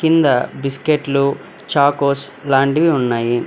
కింద బిస్కెట్లు చాకోస్ లాంటివి ఉన్నాయి.